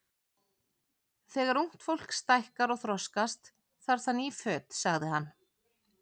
Þegar ungt fólk stækkar og þroskast, þarf það ný föt sagði hann.